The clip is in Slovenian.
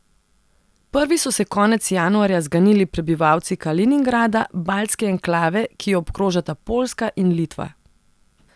Prvi so se konec januarja zganili prebivalci Kaliningrada, baltske enklave, ki jo obkrožata Poljska in Litva.